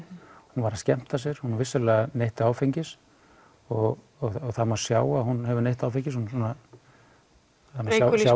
hún var að skemmta sér hún vissulega neytti áfengis og það má sjá að hún hafi neytt áfengis hún svona það má